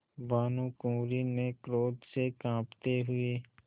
भानुकुँवरि ने क्रोध से कॉँपते हुए